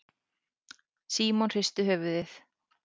Símon hristi höfuðið.